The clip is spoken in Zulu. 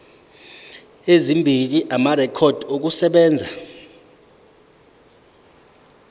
ezimbili amarekhodi okusebenza